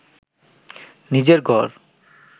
নিজের ঘর